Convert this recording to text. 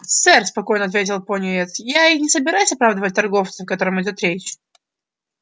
сэр спокойно ответил пониетс я и не собираюсь оправдывать торговца о котором идёт речь